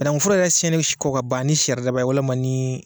Banakun foro yɛrɛ siyɛnni kɔ ka ban ni saridaba ye walima ni